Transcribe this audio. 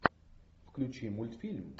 включи мультфильм